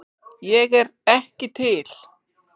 Ég er ekki til